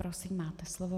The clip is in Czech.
Prosím, máte slovo.